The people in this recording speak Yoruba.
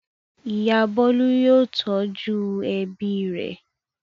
Ìyá Bólú yóò tọ́jú ẹbí rẹ̀.